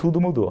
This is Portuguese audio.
Tudo mudou.